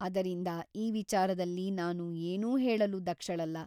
ಅದರಿಂದ ಈ ವಿಚಾರದಲ್ಲಿ ನಾನು ಏನೂ ಹೇಳಲೂ ದಕ್ಷಳಲ್ಲ.